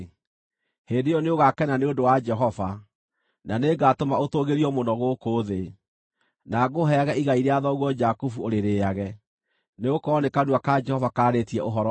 hĩndĩ ĩyo nĩũgakena nĩ ũndũ wa Jehova, na nĩngatũma ũtũũgĩrio mũno gũkũ thĩ, na ngũheage igai rĩa thoguo Jakubu, ũrĩrĩĩage.” Nĩgũkorwo nĩ kanua ka Jehova kaarĩtie ũhoro ũcio.